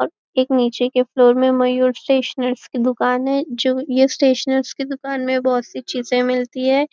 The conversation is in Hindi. और एक नीचें के फ्लोर में मयूर स्टेशनरी की दुकान है जो यह स्टेशनरी की दुकान में बहुत सारी चीजें मिलती है